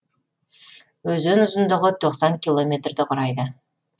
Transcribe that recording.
өзен ұзындығы тоқсан километрді құрайды